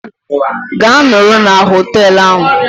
Gaa nọrọ na hoteelu ahụ!